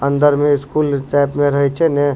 अंदर में school type में रहे छै ने।